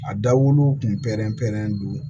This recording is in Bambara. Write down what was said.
A dawolo kun pɛrɛn pɛrɛnnen don